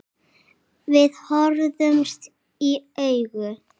Við horfðumst í augu.